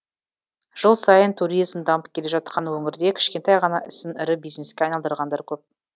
жыл сайын туризм дамып келе жатқан өңірде кішкентай ғана ісін ірі бизнеске айналдырғандар көп